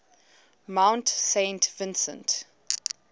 mount saint vincent